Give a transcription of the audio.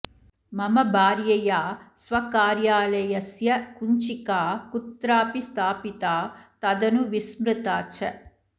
मम भार्यया स्वकार्यालयस्य कुञ्चिका कुत्रापि स्थापिता तदनु विस्मृता च